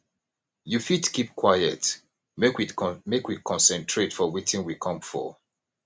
you fit keep quite make we concentrate for wetin we come for